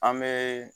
An bɛ